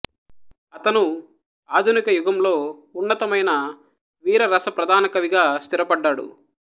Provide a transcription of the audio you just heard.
అతను ఆధునిక యుగంలో ఉన్నతమైన వీరరస ప్రధాన కవిగా స్థిరపడ్డాడు